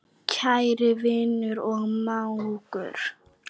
Kæri vinur og mágur.